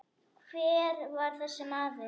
Hver var þessi maður?